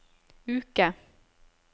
uke